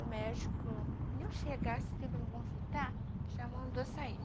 O médico, nem chegasse tempo de me consultar, já mandou sair.